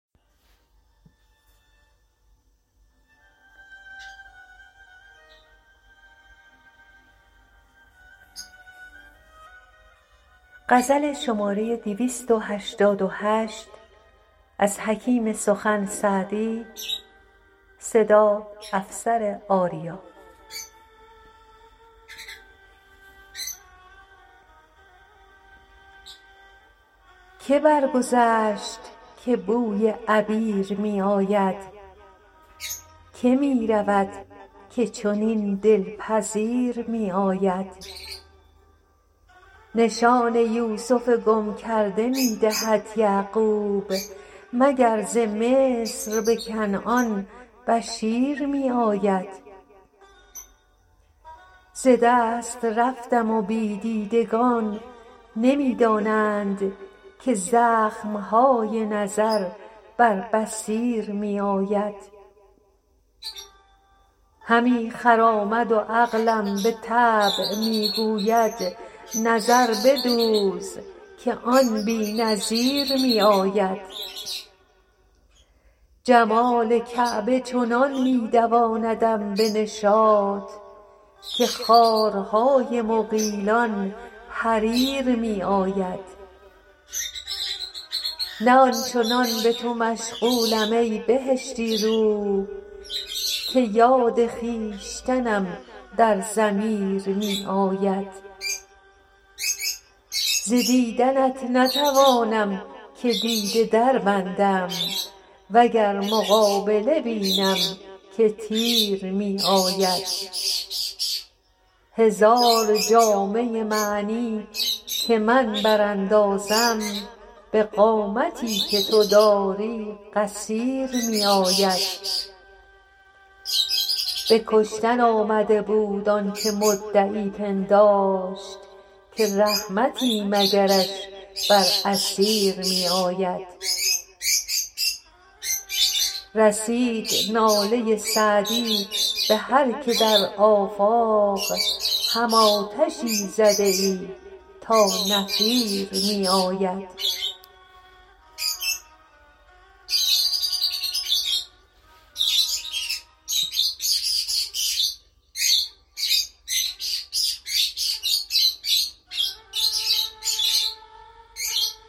که برگذشت که بوی عبیر می آید که می رود که چنین دل پذیر می آید نشان یوسف گم کرده می دهد یعقوب مگر ز مصر به کنعان بشیر می آید ز دست رفتم و بی دیدگان نمی دانند که زخم های نظر بر بصیر می آید همی خرامد و عقلم به طبع می گوید نظر بدوز که آن بی نظیر می آید جمال کعبه چنان می دواندم به نشاط که خارهای مغیلان حریر می آید نه آن چنان به تو مشغولم ای بهشتی رو که یاد خویشتنم در ضمیر می آید ز دیدنت نتوانم که دیده دربندم و گر مقابله بینم که تیر می آید هزار جامه معنی که من براندازم به قامتی که تو داری قصیر می آید به کشتن آمده بود آن که مدعی پنداشت که رحمتی مگرش بر اسیر می آید رسید ناله سعدی به هر که در آفاق هم آتشی زده ای تا نفیر می آید